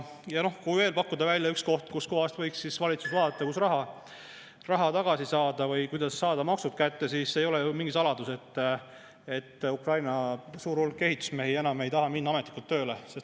Ja kui veel pakkuda välja üks koht, mida võiks valitsus vaadata, kust raha tagasi saada või kuidas saada maksud kätte, siis ei ole ju mingi saladus, et suur hulk Ukraina ehitusmehi enam ei taha minna ametlikult tööle.